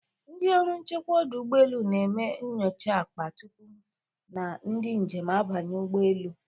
Ndị ọrụ nchekwa ọdụ ụgbọelu na-eme nyocha akpa tupu na ndị njem abanye ụgbọelu.